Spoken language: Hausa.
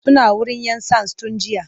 Suna wurin 'yan sands tun jiya.